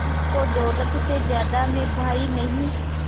जिसको दौलत से ज्यादा मैं भाई नहीं